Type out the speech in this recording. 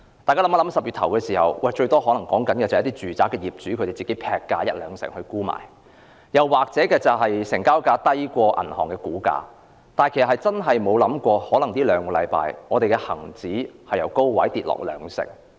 在10月初，最多只是一些住宅業主劈價一兩成沽賣，或是成交價低於銀行估價，但我們真的沒有想過在兩星期間，恒生指數會由高位下跌兩成。